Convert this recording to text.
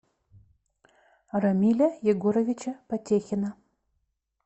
рамиля егоровича потехина